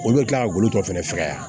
Olu bɛ kila ka golo tɔ fɛnɛ fɛgɛya